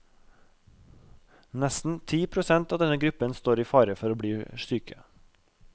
Nesten ti prosent av denne gruppen står i fare for å bli syke.